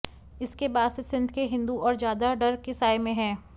इसके बाद से सिंध के हिन्दू और ज्यादा डर के साए में हैं